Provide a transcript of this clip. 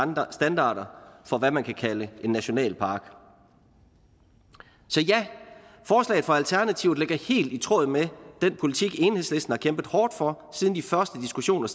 standarder for hvad man kan kalde en nationalpark så ja forslaget fra alternativet ligger helt i tråd med den politik enhedslisten har kæmpet hårdt for siden de første diskussioner